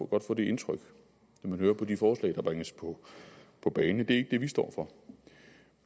godt få det indtryk når man hører på de forslag der bringes på på bane det er ikke det vi står for